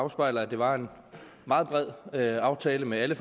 afspejler at det var en meget bred aftale med alle